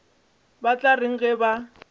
ba tla reng ge ba